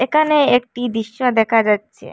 একানে একটি দৃশ্য দেকা যাচ্চে।